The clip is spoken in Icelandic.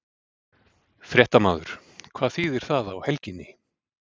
Fréttamaður: Hvað þýðir það á helginni?